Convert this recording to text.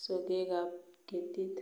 sogekab ketit